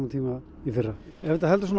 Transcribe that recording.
tíma í fyrra ef þetta heldur